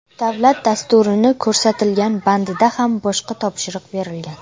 Davlat dasturini ko‘rsatilgan bandida ham boshqa topshiriq berilgan.